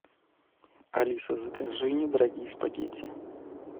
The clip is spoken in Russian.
алиса закажи недорогие спагетти